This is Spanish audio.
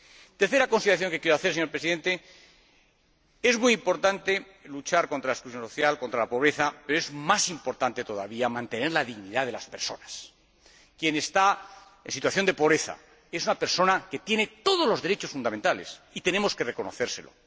La tercera consideración que quiero hacer, señora Presidenta, es que es muy importante luchar contra la exclusión social, contra la pobreza, pero es más importante todavía mantener la dignidad de las personas. Quien está en situación de pobreza es una persona que tiene todos los derechos fundamentales, y tenemos que reconocérselo.